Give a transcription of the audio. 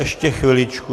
Ještě chviličku...